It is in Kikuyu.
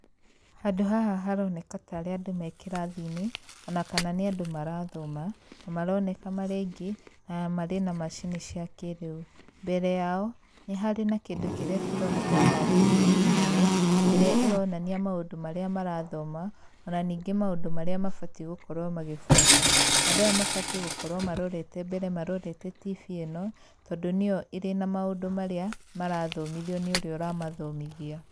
Handũ haha haroneka tarĩ andũ me kĩrathi-inĩ ona kana nĩ andũ marathoma na maroneka marĩ aingĩ na marĩ na macini cia kĩrĩu. Mbere yao nĩ harĩ na kĩndũ kĩrĩa kĩroneka tarĩ tibii nene ĩrĩa ĩronania maũndũ marĩa marathoma ona ningĩ maũndũ marĩa mabatiĩ gũkorwo magĩbuata. Andũ aya mabatiĩ gũkorwo marorete mbere marorete tibii ĩno tondũ nĩyo ĩrĩ na maũndũ marĩa marathomithio nĩ ũrĩa ũramathomithia.